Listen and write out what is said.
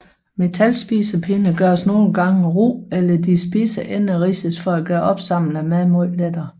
Metalspisepinde gøres nogle gange ru eller de spidse ender ridses for at gøre opsamlingen af mad lettere